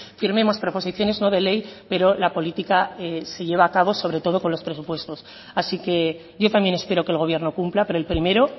firmemos proposiciones no de ley pero la política se lleva a cabo sobre todo con los presupuestos así que yo también espero que el gobierno cumpla pero el primero